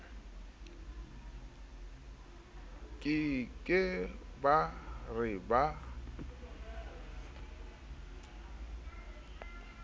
ke ke ba re ba